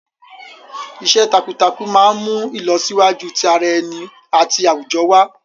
Iṣẹ́ takuntakun máa ń mú ìlọsíwájú ti ara ẹni àti àwùjọ wá.